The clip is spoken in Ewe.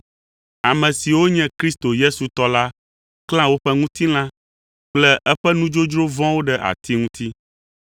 Ame siwo nye Kristo Yesu tɔ la klã woƒe ŋutilã kple eƒe nudzodzro vɔ̃wo ɖe ati ŋuti.